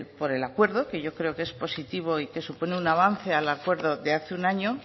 por el acuerdo que yo creo que es positivo y que supone un avance al acuerdo de hace un año